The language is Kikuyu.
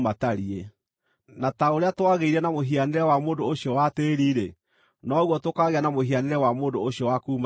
Na ta ũrĩa twagĩire na mũhianĩre wa mũndũ ũcio wa tĩĩri-rĩ, noguo tũkaagĩa na mũhianĩre wa mũndũ ũcio wa kuuma igũrũ.